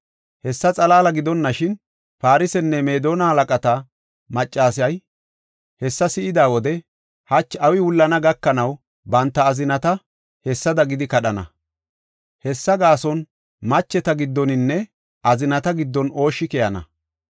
Hessa xalaala gidonashin, Farsenne Meedona halaqata maccasay hessa si7ida wode, hachi awi wullana gakanaw banta azinata hessada gidi kadhana. Hessa gaason macheta giddoninne azinata giddon ooshshi keyana.